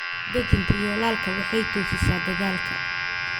Dejinta yoolalka waxay toosisaa dadaalka.